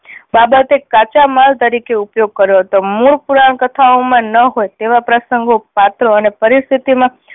બાબતે કાચા માલ તરીકે ઉપયોગ કર્યો હતો. મૂળ પુરાણ કથાઓ માં ન હોય તેવા પ્રસંગો, પાત્રો અને પરિસ્થિતિ માં